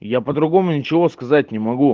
я по-другому ничего сказать не могу